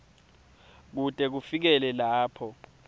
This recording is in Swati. kute kufikele lapho